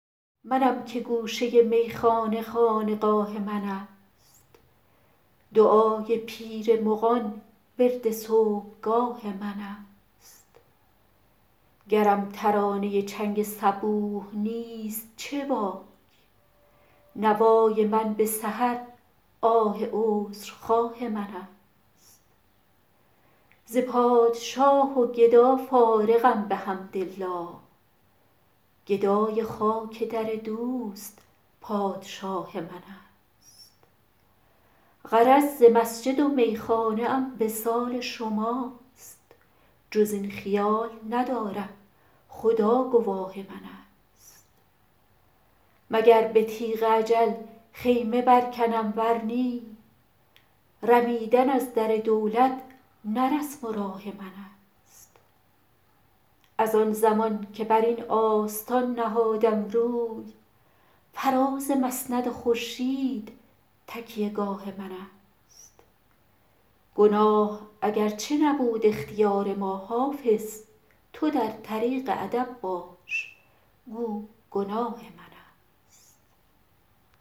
منم که گوشه میخانه خانقاه من است دعای پیر مغان ورد صبحگاه من است گرم ترانه چنگ صبوح نیست چه باک نوای من به سحر آه عذرخواه من است ز پادشاه و گدا فارغم بحمدالله گدای خاک در دوست پادشاه من است غرض ز مسجد و میخانه ام وصال شماست جز این خیال ندارم خدا گواه من است مگر به تیغ اجل خیمه برکنم ور نی رمیدن از در دولت نه رسم و راه من است از آن زمان که بر این آستان نهادم روی فراز مسند خورشید تکیه گاه من است گناه اگرچه نبود اختیار ما حافظ تو در طریق ادب باش گو گناه من است